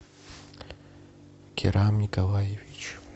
кирам николаевич